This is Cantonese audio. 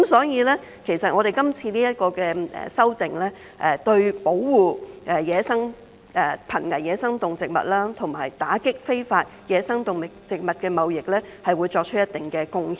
因此，今次這項修訂，會對保護瀕危野生動植物及打擊非法野生動植物貿易，作出一定貢獻。